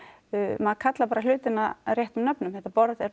maður kallar hlutina réttum nöfnum þetta borð er